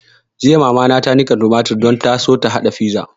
Jiya mama ta niƙa tumatur don ta so ta haɗa fiza